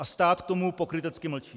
A stát k tomu pokrytecky mlčí.